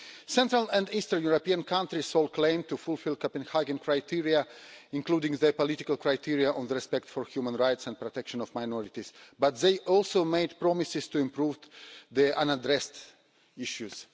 Central and Eastern European countries' sole claim to fulfil the Copenhagen criteria, including their political criteria on the respect for human rights and protection of minorities, but they also made promises to improve their unaddressed issues.